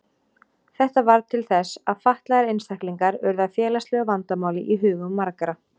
Þetta varð til þess að fatlaðir einstaklingar urðu að félagslegu vandamáli í hugum margra.